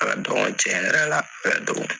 A ka dɔgɔ cɛn yɛrɛ la a